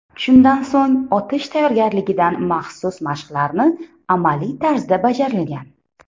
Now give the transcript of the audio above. Shundan so‘ng otish tayyorgarligidan maxsus mashqlarni amaliy tarzda bajarilgan.